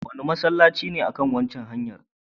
Wane masallaci ne a kan waccan hanyar?